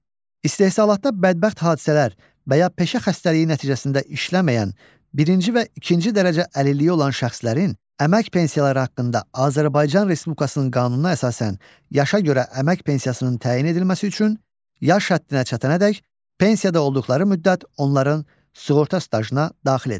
İstehsalatda bədbəxt hadisələr və ya peşə xəstəliyi nəticəsində işləməyən, birinci və ikinci dərəcə əlilliyi olan şəxslərin əmək pensiyaları haqqında Azərbaycan Respublikasının qanununa əsasən yaşa görə əmək pensiyasının təyin edilməsi üçün yaş həddinə çatana dək pensiyada olduqları müddət onların sığorta stajına daxil edilir.